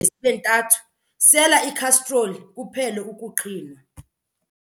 zibe ntathu, sela ikhastroli kuphele ukuqhinwa.